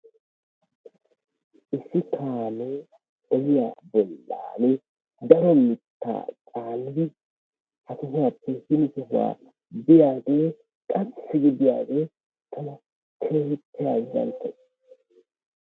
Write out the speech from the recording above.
Issi kaamee ogiyaa dembban daro mittaa caanidi ha sohuwappe hin sohuwaa biyaagee lawuhu gi biyaage tana keehippe azzanttees.